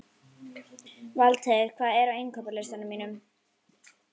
Valdheiður, hvað er á innkaupalistanum mínum?